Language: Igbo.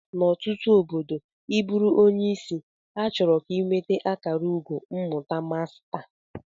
N'ọtụtụ obodo ị bụrụ onye isi, achọrọ ka ị nweta akara ugo mmụta masta